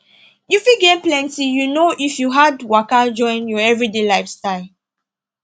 you fit gain plenty you know if you add waka join your everyday lifestyle